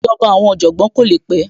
Ìjọba àwọn Ọ̀jọ̀gbọ́n kò le pẹ́